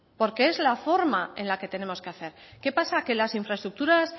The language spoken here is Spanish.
porque es la forma en la que tenemos que hacer qué pasa que las infraestructuras